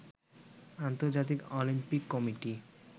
আন্তর্জাতিক Olympic committee